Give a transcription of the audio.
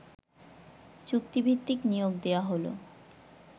চুক্তিভিত্তিক নিয়োগ দেয়া হল